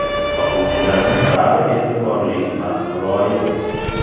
Sotuvchilarning bari e’tiborli va muloyim.